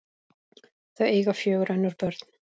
Þau eiga fjögur önnur börn.